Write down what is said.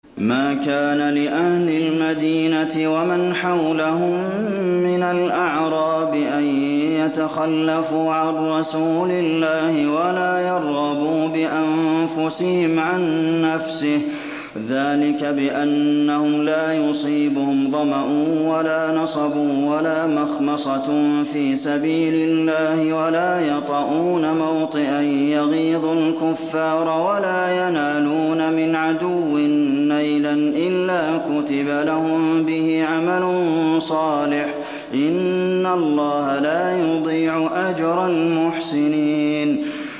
مَا كَانَ لِأَهْلِ الْمَدِينَةِ وَمَنْ حَوْلَهُم مِّنَ الْأَعْرَابِ أَن يَتَخَلَّفُوا عَن رَّسُولِ اللَّهِ وَلَا يَرْغَبُوا بِأَنفُسِهِمْ عَن نَّفْسِهِ ۚ ذَٰلِكَ بِأَنَّهُمْ لَا يُصِيبُهُمْ ظَمَأٌ وَلَا نَصَبٌ وَلَا مَخْمَصَةٌ فِي سَبِيلِ اللَّهِ وَلَا يَطَئُونَ مَوْطِئًا يَغِيظُ الْكُفَّارَ وَلَا يَنَالُونَ مِنْ عَدُوٍّ نَّيْلًا إِلَّا كُتِبَ لَهُم بِهِ عَمَلٌ صَالِحٌ ۚ إِنَّ اللَّهَ لَا يُضِيعُ أَجْرَ الْمُحْسِنِينَ